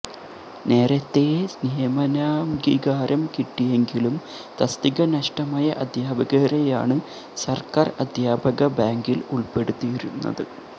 നേരത്തേ നിയമനാംഗീകാരം കിട്ടിയെങ്കിലും തസ്തിക നഷ്ടമായ അധ്യാപകരെയാണ് സർക്കാർ അധ്യാപകബാങ്കിൽ ഉൾപ്പെടുത്തിയിരുന്നത്